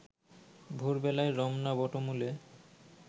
ভোর বেলায় রমনা বটমূলে